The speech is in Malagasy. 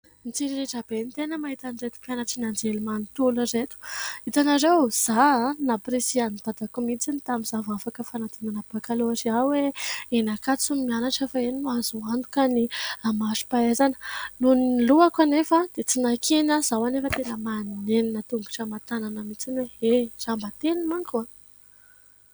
Mitsiriritra be ny tena mahita an'izato mpianatry ny anjerimanontolo ireto. Itanareo, izaho namporisihan' i dadako mihitsy tamin' izaho vao afaka fanadinana bakalorea hoe : eny Ankatso no mianatra fa eny no azo antoka ny mari-pahaizana. Nohon' ny lohako anefa, dia tsy nankeny aho. Izao anefa tena manenina tongotra aman- tanana mihitsy hoe : e, raha mba teny manko a !